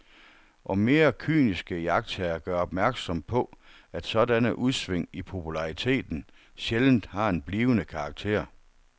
Og mere kyniske iagttagere gør opmærksom på, at sådanne udsving i populariteten sjældent har en blivende karakter.